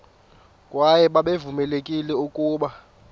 kwaye babevamelekile ukuba